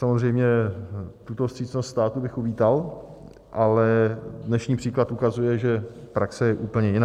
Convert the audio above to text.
Samozřejmě tuto vstřícnost státu bych uvítal, ale dnešní příklad ukazuje, že praxe je úplně jiná.